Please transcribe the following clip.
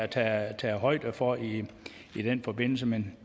der er taget højde for i den forbindelse men